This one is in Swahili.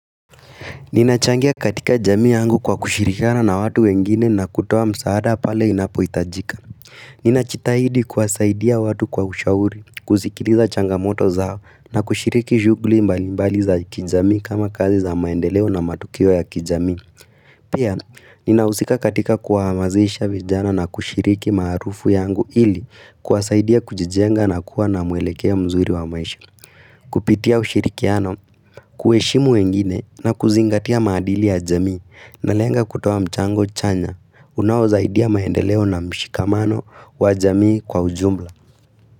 Ninachangia katika jamii yangu kwa kushirikana na watu wengine na kutuo msaada pale inapo itajika. Ninajitahidi kwasaidia watu kwa ushauri, kusikiliza changamoto zao na kushiriki shughuli mbali mbali za kijami kama kazi za maendeleo na matukio ya kijami. Pia, ninahusika katika kwa hamazisha vijana na kushiriki marufu yangu ili kwasaidia kujijenga na kuwa na muelekeo mzuri wa maisha. Kupitia ushirikiano, kueshimu wengine na kuzingatia maadili ya jamii na lenga kutoa mchango chanya unawo zaidia maendeleo na mshikamano wa jamii kwa ujumla.